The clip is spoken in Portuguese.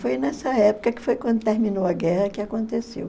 Foi nessa época que foi quando terminou a guerra que aconteceu.